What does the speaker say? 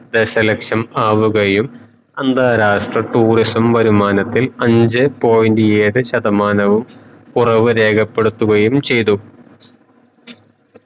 ദശ ലക്ഷം ആവുകയും അന്താരാഷ്ട്ര tourism വരുമാനത്തിൽ അഞ്ചേ point ഏഴ് ശതമാനവും കൊറവ് രേഖപ്പെടുത്തുകയും ചയ്തു